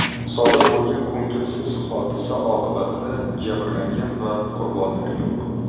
Sodir bo‘lgan ko‘ngilsiz hodisa oqibatida jabrlangan va qurbonlar yo‘q.